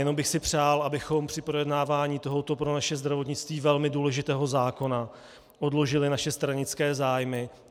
Jenom bych si přál, abychom při projednávání tohoto pro naše zdravotnictví velmi důležitého zákona odložili naše stranické zájmy.